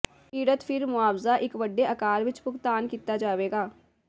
ਪੀੜਤ ਫਿਰ ਮੁਆਵਜ਼ਾ ਇੱਕ ਵੱਡੇ ਆਕਾਰ ਵਿਚ ਭੁਗਤਾਨ ਕੀਤਾ ਜਾਵੇਗਾ